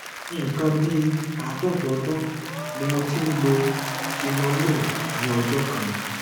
nǹkan bí àádọta ọdún ni mo ti ń lo tenormin ní ọjọ kan